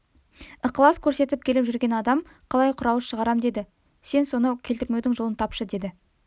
ықлас көрсетіп келіп жүрген адам қалай құр ауыз шығарам деді сен соны келтірмеудің жолын тапшы деді